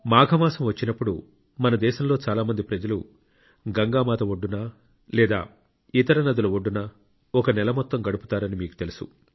మాఘ మాసం వచ్చినప్పుడు మన దేశంలో చాలా మంది ప్రజలు గంగా మాత ఒడ్డున లేదా ఇతర నదుల ఒడ్డున ఒక నెల మొత్తం గడుపుతారని మీకు తెలుసు